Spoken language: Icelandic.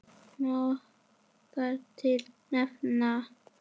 Má þar til nefna